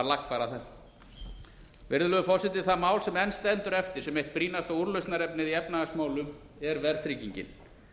lagfæra þetta virðulegur forseti það mál sem enn stendur eftir sem eitt brýnasta úrlausnarefnið í efnahagsmálum er verðtryggingin